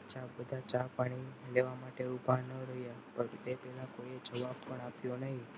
અચ્છા બધા ચા પાણી લેવા માટે ઉભા ન રહ્યા પણ તે પહેલા કોઈએ જવાબ પણ આપ્યો નહીં.